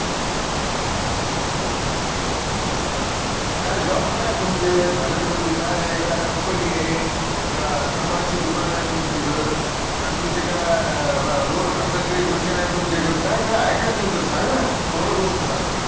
काय job काय आहे तुमचे थायलंड मदि काय ए का company ए? का चांभारची दुकान आहे तुमची तिकडं? का तुमचे का road घासाची machine आहे तुमच्या इकडं काय काय आहे काय तुमचं सांगा ना? पूर्ण गोष्ट सांगा